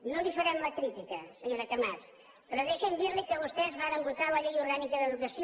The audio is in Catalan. no li farem la crítica senyora camats però deixi’m dirli que vostès varen votar la llei orgànica d’educació